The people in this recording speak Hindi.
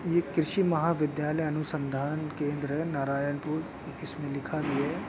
यह कृषि महाविद्यालय अनुसन्धान केंद्र है नारायणपुर इसमें लिखा भी है।